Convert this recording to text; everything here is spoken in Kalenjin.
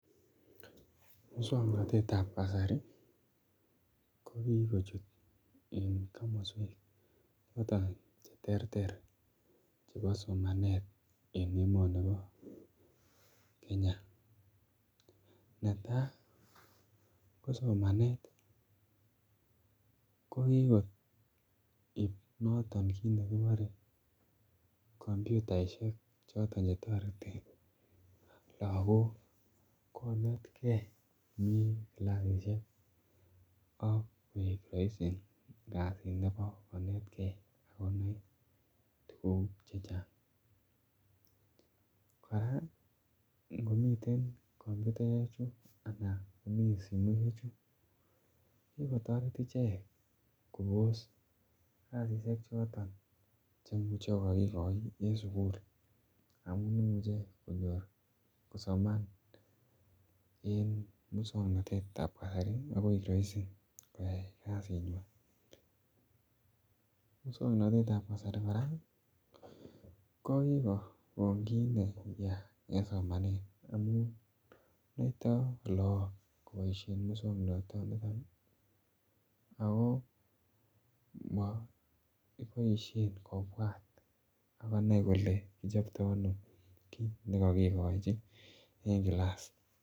Moswoknatetab ab kasari ko kikochut en komoswek chechang Che terter chebo somanet en emoni bo Kenya netai ko somanet ko kigo koib noton kit nekibore komputaisiek choton chetoreti lagok konetgei komi kilasisiek asi koik roisi kasit nebo konetgei ak konai tuguk chechang kora komi komputaisiek ak simoisiek ko ki kotoret ichek kobos kasisyek choton Che Imuch ko kokigoi en sukul amun imuche konyor kosoman en moswoknatetab ab kasari ak koik roisi koyai kasinywan moswoknatetab ab kasari kora ko ki kokon kit neyaa en somanet amun noito lagok koboisien moswoknatanito ako moboisien kobwat kole kichopto ano kit nekokigochi en kilas.